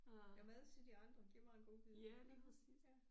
Der er mad til de andre giv mig en godbid ja ja